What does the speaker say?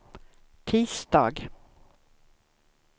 tisdag